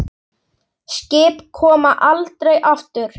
Skip koma aldrei aftur.